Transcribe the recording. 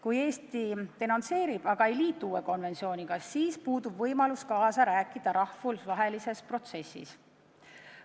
Kui Eesti denonsseerib vana, aga ei liitu uue konventsiooniga, siis puudub meil võimalus kaasa rääkida rahvusvahelises protsessis.